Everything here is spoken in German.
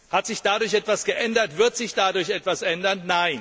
Hat sich dadurch etwas geändert oder wird sich dadurch etwas ändern?